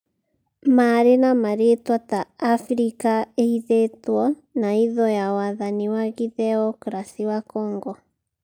Maarĩ na marĩĩtwa ta 'Afirika Ĩhithĩtwo' na hitho ya Wathani wa Gĩtheokrasi wa Congo.